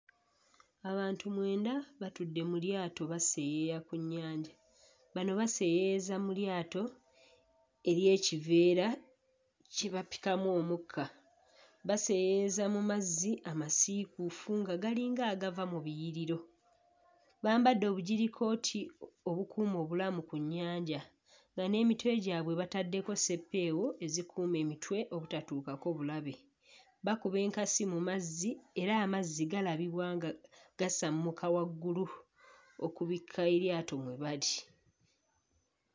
Abantu mwenda batudde batudde mu lyato baseeyeeya ku nnyanja bano baseeyeeyeza mu lyato ery'ekiveera kye bapikamu omukka baseeyeeyeza mu mazzi amasiikuufu nga galinga agava mu biriyiro bambadde obujirikooti o obukuuma obulamu ku nnyanja nga n'emitwe gyabwe bataddeko sseppeewo ezikuuma emitwe obutatuukako bulabe bakuba enkasi mu mazzi era amazzi galabibwa nga gasammuka waggulu okubikka eryato mwe bali.